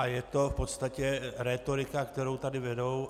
A je to v podstatě rétorika, kterou tady vedou.